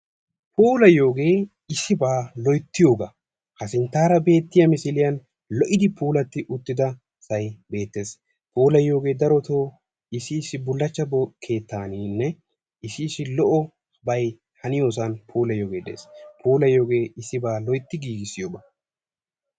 Puulayiyogee issibaa loyttiyogaa, ha sinttaara beettiya misiliyan lo"idi puulatti uttida keettay beettees puulayiyogee darotoo issi issi bullaachchaa keettaaninne issi issi lo'obay haniyosan puulayiyogee dees, puulayiyogee issibaa loytti giggissiyogaa.